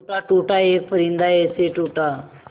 टूटा टूटा एक परिंदा ऐसे टूटा